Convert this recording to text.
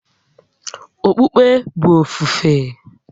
Okpukpe bụ ofufe